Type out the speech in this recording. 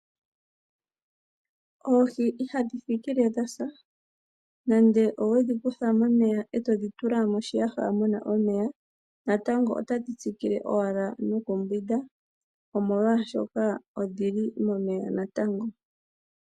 Oohi ihadhi thikile dhasa nande owedhi kutha momeya ndee todhi tula moshiyaha muna omeya natango otadhi tsikile owala nokumbwinda molwaasho odhili momeya natango.